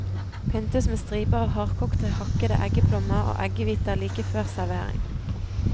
Pyntes med striper av hardkokte hakkede eggeplommer og eggehviter like før servering.